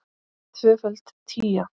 Tvöföld tía.